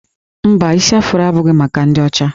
Mba, isi Afro abụghị maka ndị ọcha